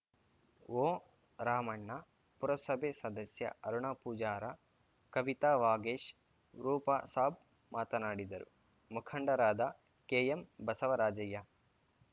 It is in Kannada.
ಓ ರಾಮಣ್ಣ ಪುರಸಭೆ ಸದಸ್ಯ ಅರುಣ ಪೂಜಾರ ಕವಿತಾ ವಾಗೇಶ್‌ ರೂಪಸಾಬ್‌ ಮಾತನಾಡಿದರು ಮುಖಂಡರಾದ ಕೆಎಂ ಬಸವರಾಜಯ್ಯ